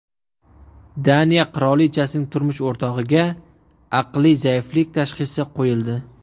Daniya qirolichasining turmush o‘rtog‘iga aqliy zaiflik tashxisi qo‘yildi.